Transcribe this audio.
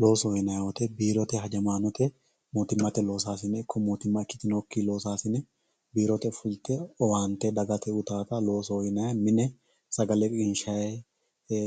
Loosoho yinanni woyite biirote hajamasinete mootimatte loosasine iko mootimma ikkitinoki loosasine biirote ofolite owante dagate uyitata loosoho yinayi, mine sagale qinishayi